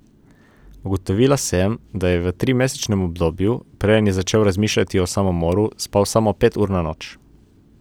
Ugotovila sem, da je v trimesečnem obdobju, preden je začel razmišljati o samomoru, spal samo pet ur na noč.